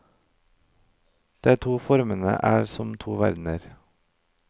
De to formene er som to verdener.